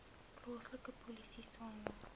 plaaslike polisie saamwerk